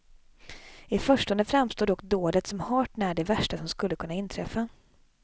I förstone framstår dock dådet som hart när det värsta som skulle kunna inträffa.